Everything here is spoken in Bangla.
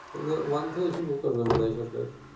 ওয়ান থেকে শুরু করবে মনে হয় সরকার